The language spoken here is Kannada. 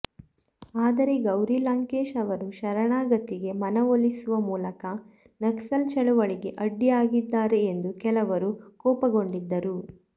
ಆದರೆ ಗೌರಿ ಲಂಕೇಶ್ ಅವರು ಶರಣಾಗತಿಗೆ ಮನವೊಲಿಸುವ ಮೂಲಕ ನಕ್ಸಲ್ ಚಳವಳಿಗೆ ಅಡ್ಡಿಯಾಗಿದ್ದಾರೆ ಎಂದು ಕೆಲವರು ಕೋಪಗೊಂಡಿದ್ದರು